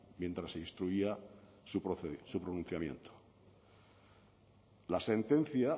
mientras se instruía su pronunciamiento la sentencia